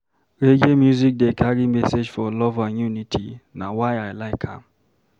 Reggae music dey carry message of love and unity, na why I like am.